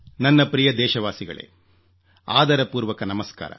ನನ್ನ ಪ್ರಿಯ ದೇಶವಾಸಿಗಳೇ ಆದರಪೂರ್ವಕ ನಮಸ್ಕಾರ